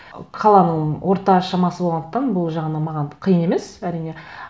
қаланың орта шамасы болғандықтан бұл жағынан маған қиын емес әрине